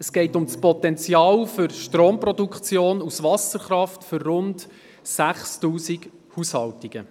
Es geht um das Potenzial für Stromproduktion aus Wasserkraft für rund 6000 Haushalte.